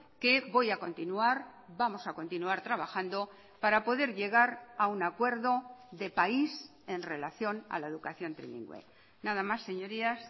que voy a continuar vamos a continuar trabajando para poder llegar a un acuerdo de país en relación a la educación trilingüe nada más señorías